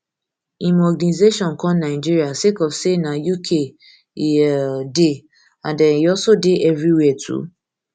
im organisation come nigeria sake of say na uk e um dey and um e also dey evriwia too